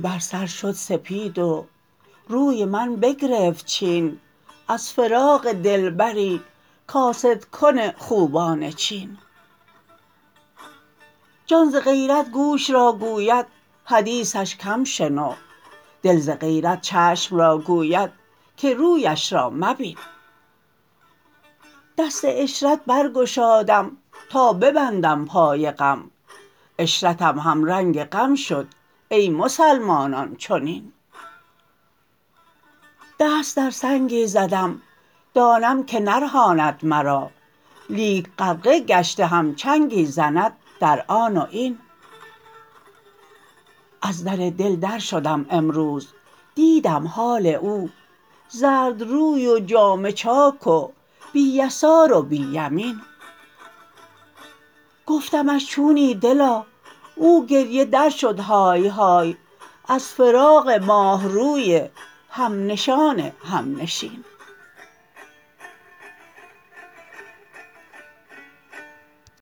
بر سر شد سپید و روی من بگرفت چین از فراق دلبری کاسدکن خوبان چین جان ز غیرت گوش را گوید حدیثش کم شنو دل ز غیرت چشم را گوید که رویش را مبین دست عشرت برگشادم تا ببندم پای غم عشرتم همرنگ غم شد ای مسلمانان چنین دست در سنگی زدم دانم که نرهاند مرا لیک غرقه گشته هم چنگی زند در آن و این از در دل درشدم امروز دیدم حال او زردروی و جامه چاک و بی یسار و بی یمین گفتمش چونی دلا او گریه درشدهای های از فراق ماه روی همنشان همنشین